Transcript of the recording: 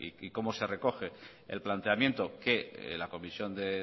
y cómo se recoge el planteamiento que la comisión de